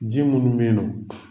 Ji minnu beyi nƆ